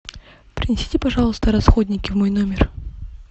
принесите пожалуйста расходники в мой номер